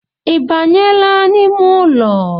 Ibanyela n’ime ụlọ?